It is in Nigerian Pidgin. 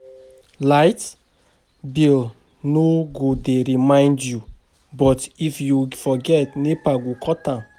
Light bill no go dey remind you, but if you forget, NEPA go cut am.